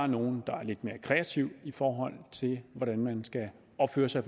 nogle der er lidt mere kreative i forhold til hvordan man skal opføre sig